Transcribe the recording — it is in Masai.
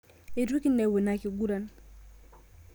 Eitu kinepu ina kiguran